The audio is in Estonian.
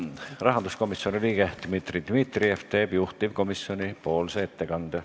Rahanduskomisjoni liige Dmitri Dmitrijev teeb juhtivkomisjoni ettekande.